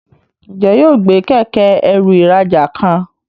Njé yóò gbé Kẹ̀kẹ́-ẹrù ìrajà kan?